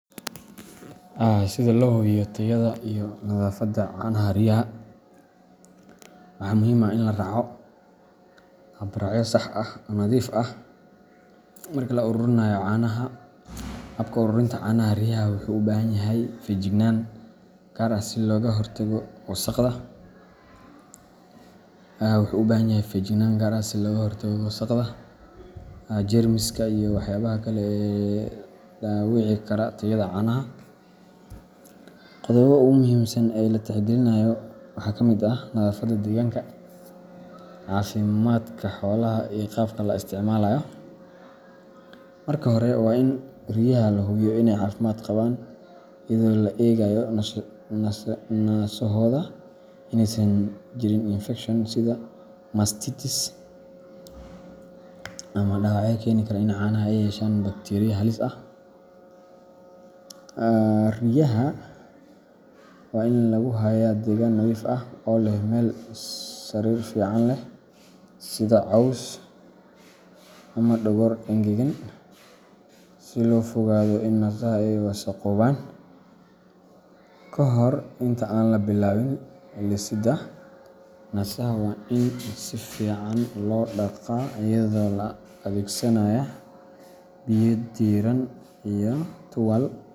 Si loo hubiyo tayada iyo nadaafadda canaha riyaha, waxaa muhiim ah in la raaco habraacyo sax ah oo nadiif ah marka la ururinayo caanaha. Habka ururinta caanaha riyaha wuxuu u baahan yahay feejignaan gaar ah si looga hortago wasakhda, jeermiska, iyo waxyaabaha kale ee dhaawici kara tayada caanaha. Qodobada ugu muhiimsan ee la tixgelinayo waxaa ka mid ah nadaafadda deegaanka, caafimaadka xoolaha, iyo qalabka la isticmaalayo. Marka hore, waa in riyaha la hubiyo inay caafimaad qabaan, iyadoo la eegayo naasahooda inaysan jirin infekshan ama dhaawacyo keeni kara in caanaha ay yeeshaan bakteeriya halis ah. Riyaha waa in lagu hayaa deegaan nadiif ah, oo leh meel sariir fiican leh sida caws ama dhogor engegan si looga fogaado in naasaha ay wasakhoobaan. Kahor inta aan la bilaabin lisidda, naasaha waa in si fiican loo dhaqaa iyadoo la adeegsanayo biyo diirran iyo tuwaai.